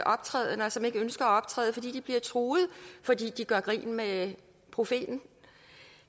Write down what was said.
optrædender og som ikke ønsker at optræde fordi de bliver truet fordi de gør grin med profeten